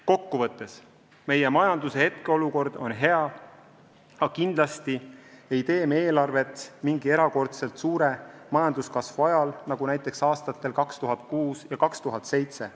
Kokku võttes: meie majanduse hetkeolukord on hea, aga kindlasti ei tee me eelarvet mingi erakordselt suure majanduskasvu ajal, nagu see oli näiteks aastatel 2006 ja 2007.